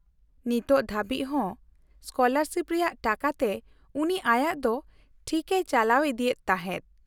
-ᱱᱤᱛ ᱦᱟᱹᱵᱤᱡ ᱦᱚᱸ ᱥᱠᱚᱞᱟᱨᱥᱤᱯ ᱨᱮᱭᱟᱜ ᱴᱟᱠᱟᱛᱮ ᱩᱱᱤ ᱟᱭᱟᱜ ᱫᱚ ᱴᱷᱤᱠᱮᱭ ᱪᱟᱞᱟᱣ ᱤᱫᱤᱭᱮᱫ ᱛᱟᱦᱮᱫ ᱾